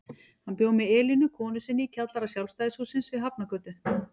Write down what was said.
Hann bjó með Elínu konu sinni í kjallara Sjálfstæðishússins við Hafnargötu.